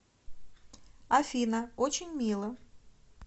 афина очень мило